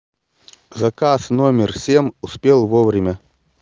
заказ номер семь успел вовремя